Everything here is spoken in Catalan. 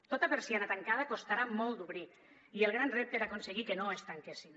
tota persiana tancada costarà molt d’obrir i el gran repte era aconseguir que no es tanquessin